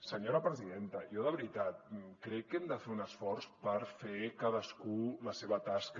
senyora presidenta jo de veritat crec que hem de fer un esforç per fer cadascú la seva tasca